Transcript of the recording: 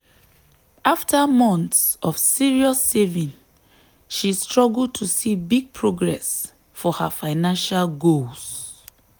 after months of serious saving she struggle to see big progress for her financial goals.